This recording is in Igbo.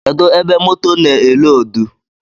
Kedụ ebe moto na-eloodu?